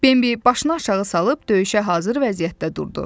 Bembi başını aşağı salıb döyüşə hazır vəziyyətdə durdu.